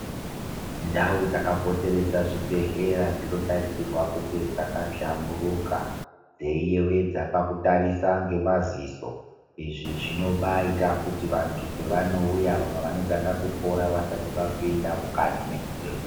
Ndau dzakapoteredza zvibhehlera dzinotarisirwe kunge dzakahlamburuka dzeiyewedza pakutarisa ngemaziso izizvinobaita kuti vantu pavanouya vamwe vanotanga kupora vasati vapinda mukati mwezvibhehlera .